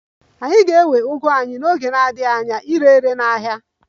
Anyị ga-ewe ugu anyị n'oge na-adịghị anya ire ere n'ahịa